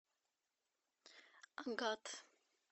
агат